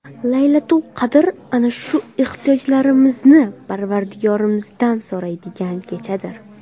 Laylatul-qadr ana o‘sha ehtiyojlarimizni Parvardigorimizdan so‘raydigan kechadir.